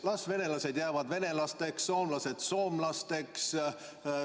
Las venelased jäävad venelasteks, soomlased soomlasteks.